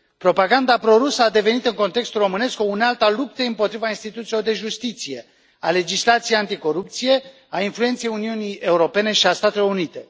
Propaganda pro rusă a devenit în context românesc o unealtă a luptei împotriva instituțiilor de justiție, a legislației anticorupție, a influenței Uniunii Europene și a Statelor Unite.